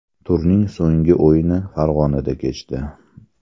Turning so‘nggi o‘yini Farg‘onada kechdi.